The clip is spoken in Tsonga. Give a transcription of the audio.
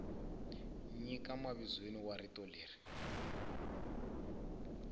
nyika mavizweni wa rito leri